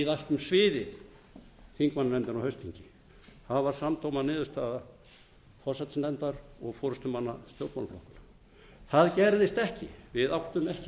ætlum sviðið þingmannanefndin á haustþingi það var samdóma niðurstaða forsætisnefndar og forustumanna stjórnmálaflokkanna það gerðist ekki við áttum ekki